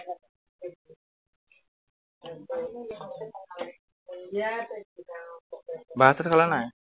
ভাত চাত খালা নাই?